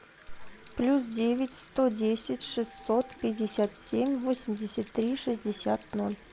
плюс девять сто десять шестьсот пятьдесят семь восемьдесят три шестьдесят ноль